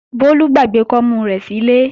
Bólú gbàgbé kọ́mú rẹ̀ sílé